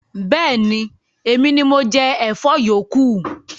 Bẹẹni, Emini mo jẹ Ẹ̀fọ́ yókù